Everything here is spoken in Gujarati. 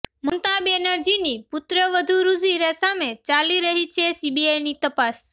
મમતા બેનરજીની પુત્રવધૂ રુજીરા સામે ચાલી રહી છે સીબીઆઇ તપાસ